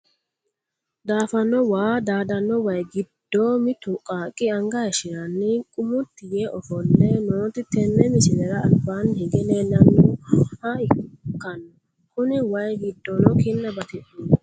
Daafano waa daadano wayi giddo mittu qaaqi anga hayishirani qummuti yee ofole nooti tene misilera albaani hige leelanoha ikano koni wayi gidino kinna batidhino.